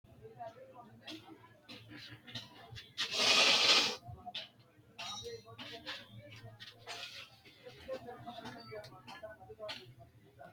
Bushshu hoshooshamara noosi qeecha Itophiyu malaatu afiinni harancho xawishsha shiqishshe Bushshu hoshooshamara noosi qeecha Itophiyu malaatu afiinni harancho xawishsha shiqishshe.